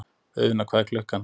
Auðna, hvað er klukkan?